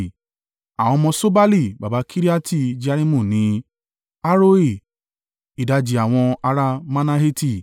Àwọn ọmọ Ṣobali baba Kiriati-Jearimu ni: Haroe, ìdajì àwọn ará Manaheti.